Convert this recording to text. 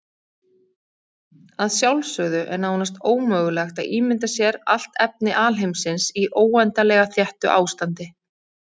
Að sjálfsögðu er nánast ómögulegt að ímynda sér allt efni alheimsins í óendanlega þéttu ástandi.